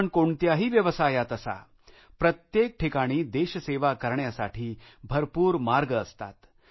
आपण कोणत्याही व्यवसायात असाप्रत्येक ठिकाणी देशसेवा करण्यासाठी भरपूर मार्ग असतात